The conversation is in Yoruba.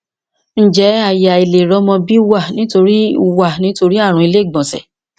ṣé aye aileri omo bi wa nitori wa nitori arun ile igbonse